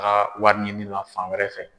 Ka wariɲini la fan wɛrɛ fɛ.